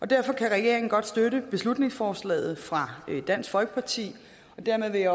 derfor kan regeringen godt støtte beslutningsforslaget fra dansk folkeparti og dermed vil jeg